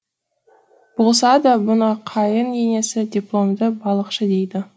болса да бұны қайын енесі дипломды балықшы дейді